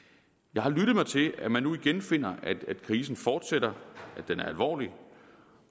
jeg har lyttet mig til at man nu igen finder at krisen fortsætter at den er alvorlig